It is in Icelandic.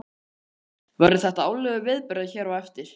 Kristján: Verður þetta árlegur viðburður hér eftir?